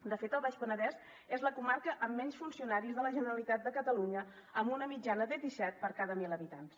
de fet el baix penedès és la comarca amb menys funcionaris de la generalitat de catalunya amb una mitjana de disset per cada mil habitants